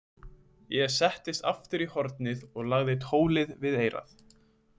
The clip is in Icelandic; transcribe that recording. Ég settist aftur í hornið og lagði tólið við eyrað.